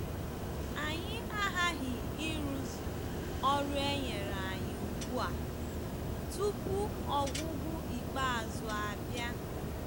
Anyị aghaghị ịrụzu ọrụ e nyere anyị ugbu a tupu ọgwụgwụ ikpeazụ abịa.